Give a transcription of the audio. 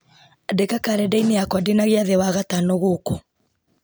andĩka karenda-inĩ yakwa ndĩna gĩathĩ wagatano gooku